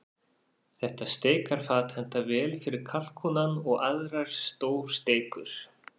Þetta steikarfat hentar vel fyrir kalkúnann og aðrar stórsteikur.